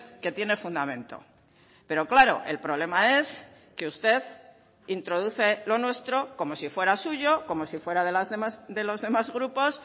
que tiene fundamento pero claro el problema es que usted introduce lo nuestro como si fuera suyo como si fuera de los demás grupos